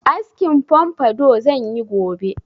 Askin pompadour zan yi gobe.